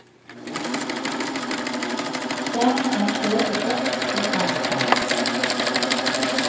Dermed er toget gått i alle fall.